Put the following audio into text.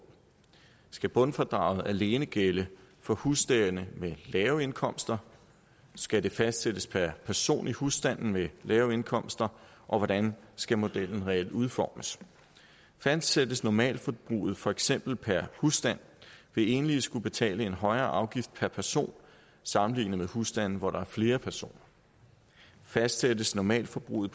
skal bundfradraget alene gælde for husstande med lave indkomster skal det fastsættes per person i husstande med lave indkomster hvordan skal modellen reelt udformes fastsættes normalforbruget for eksempel per husstand vil enlige skulle betale en højere afgift per person sammenlignet med husstande hvor der er flere personer fastsættes normalforbruget